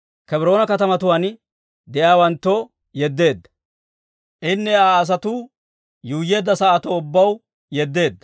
Kebroona katamatuwaan de'iyaawanttoo yeddeedda; Daawittenne Aa asatuu yuuyyeedda sa'atun de'iyaa asaw ubbaw yeddeedda.